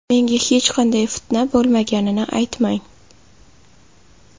Menga hech qanday fitna bo‘lmaganini aytmang.